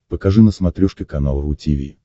покажи на смотрешке канал ру ти ви